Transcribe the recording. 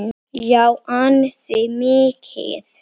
Já, ansi mikið.